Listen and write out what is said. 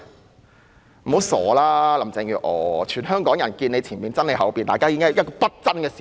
不要妄想了，林鄭月娥，全香港人也"見你前面，憎你後面"，這是不爭的事實。